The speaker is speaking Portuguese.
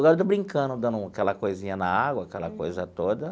O garoto brincando, dando aquela coisinha na água, aquela coisa toda.